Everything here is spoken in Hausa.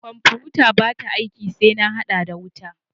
Kwanfutata ba ta aiki sai na hada da wuta.